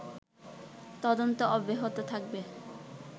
তদন্ত অব্যাহত থাকবে